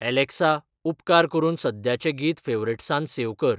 Alexa उपकार करून सद्याचें गीत फॅवरेट्सांत सेव कर